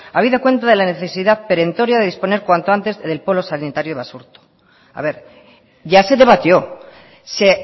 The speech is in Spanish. habida cuenta de la necesidad perentoria de disponer cuanto antes del polo sanitario basurto a ver ya se debatió se